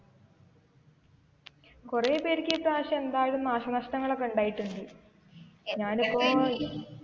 കുറെ പേർക്ക് ഇപ്രാവശ്യം എന്തായാലും നാശനഷ്ടങ്ങൾ ഒക്കെ ഉണ്ടായിട്ടുണ്ട് ഞാൻ ഇപ്പൊ,